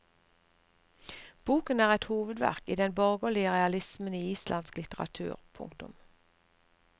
Boken er et hovedverk i den borgerlige realismen i islandsk litteratur. punktum